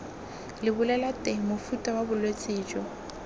lebolelateng mofuta wa bolwetse jo